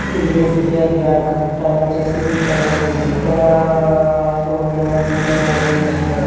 ఇది S _B _I bank time వచ్చేసి five అవుతోంది. ఇక్కడా ఫోర్ మెంబర్స్ను వెయిట్ చేస్తున్నారు.